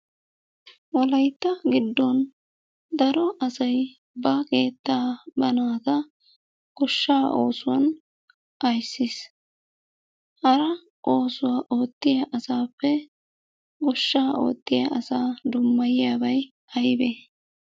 Wolaytta giddon daro asay ba keettaa ba naata goshshaa oosuwan ayssees. Hara oosuwa ootiya asaappe goshshaa ootiya asaa dummayiyabay aybee?